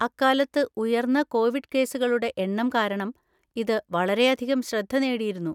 അക്കാലത്ത് ഉയർന്ന കോവിഡ് കേസുകളുടെ എണ്ണം കാരണം ഇത് വളരെയധികം ശ്രദ്ധ നേടിയിരുന്നു.